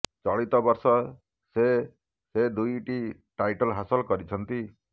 ଚଳିତ ବର୍ଷ ସେ ସେ ଦୁଇ ଦୁଇଟି ଟାଇଟଲ ହାସଲ କରିଛନ୍ତି